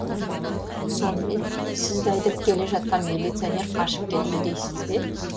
сонымен сізді айдап келе жатқан милиционер қашып кетіпті дейсіз бе